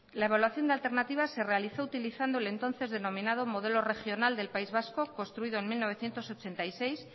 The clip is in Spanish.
la evaluación de alternativas se realizó utilizando el entonces denominado modelo regional del país vasco construido en mil novecientos ochenta y seis